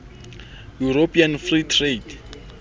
european free trade